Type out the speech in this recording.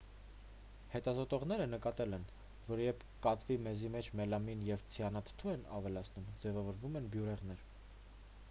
հետազոտողներն նկատել են որ երբ կատվի մեզի մեջ մելամին և ցիանուրաթթու են ավելացնում ձևավորվում են բյուրեղներ